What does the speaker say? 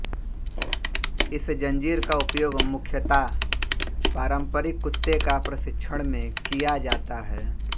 इस जंजीर का उपयोग मुख्यतया पारम्परिक कुत्ते का प्रशिक्षण में किया जाता है